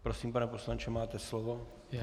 Prosím, pane poslanče, máte slovo.